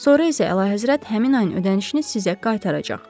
Sonra isə Əlahəzrət həmin ayın ödənişini sizə qaytaracaq.